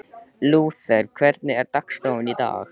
Lúther, hvernig er dagskráin í dag?